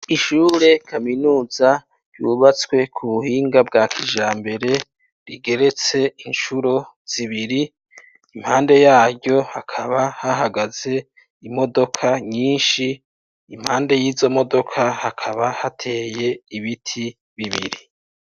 Ishure kaminuza ryubatswe ku buhinga bwa kijambere rigeretse inshuro zibiri impande yaryo hakaba hahagaze imodoka nyinshi impande y'izo modoka hakaba hateye ibiti bibiri.